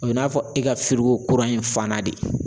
O bɛ n'a fɔ e ka kura ye fana de